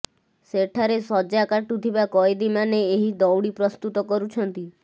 ସେଠାରେ ସଜା କାଟୁଥିବା କଏଦୀମାନେ ଏହି ଦଉଡି ପ୍ରସ୍ତୁତ କରୁଛନ୍ତି